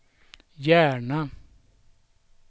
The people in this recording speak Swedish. Järna